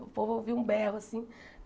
O povo ouvia um berro, assim.